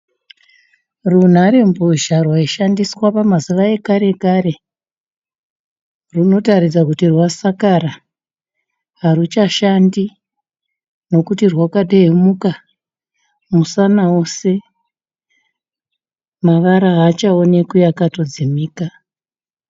Runharembozva rwaishandiswa pamazuva ekare kare, runotaridza kuti rwasakara haruchashande nokuti rwakatenheuka musana wose, mavara havachaonekwi akatodzimika.